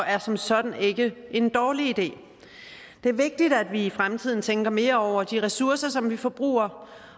er som sådan ikke en dårlig idé det er vigtigt at vi i fremtiden tænker mere over de ressourcer som vi forbruger